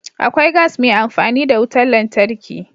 Akwai gas mai amfani da wutar lantarki.